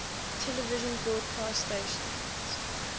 television broadcast stations